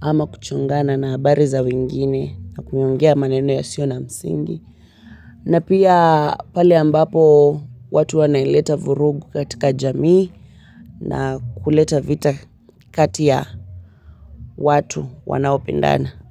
ama kuchongana na habari za wengine na kuongea maneno yasiyo na msingi. Na pia pale ambapo watu wanaleta vurugu katika jamii na kuleta vita kati ya watu wanaopendana.